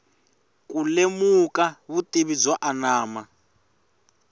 ku lemuka vutivi byo anama